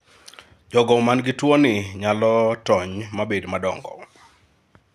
jogo man gi tuo ni nyalo tony mabed madongo